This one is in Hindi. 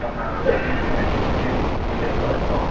बना रहे है मिस्त्री लेबर और --